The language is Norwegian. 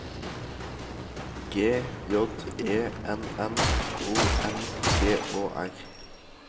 G J E N N O M G Å R